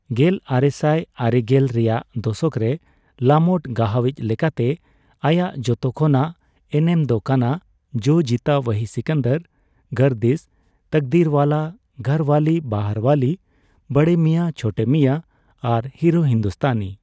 ᱜᱮᱞ ᱟᱨᱮᱥᱟᱭ ᱟᱨᱮᱜᱮᱞ ᱨᱮᱭᱟᱜ ᱫᱚᱥᱚᱠ ᱨᱮ ᱞᱟᱢᱚᱴ ᱜᱟᱦᱟᱣᱤᱪ ᱞᱮᱠᱟᱛᱮ ᱟᱭᱟᱜ ᱡᱷᱚᱛᱚ ᱠᱷᱚᱱᱟᱜ ᱮᱱᱮᱢ ᱫᱚ ᱠᱟᱱᱟ ᱡᱳ ᱡᱤᱛᱟ ᱳᱦᱤ ᱥᱤᱠᱟᱱᱫᱟᱨ, ᱜᱟᱨᱫᱤᱥ, ᱛᱟᱠᱫᱤᱨᱼᱳᱣᱟᱞᱟ, ᱜᱷᱚᱨᱼᱳᱣᱟᱞᱤ, ᱵᱟᱦᱟᱨᱼᱳᱣᱟᱞᱤ, ᱵᱚᱲᱮ ᱢᱤᱭᱟ ᱪᱷᱳᱴᱮ ᱢᱤᱭᱟ ᱟᱨ ᱦᱤᱨᱳ ᱦᱤᱱᱫᱩᱥᱛᱷᱟᱱᱤ ᱾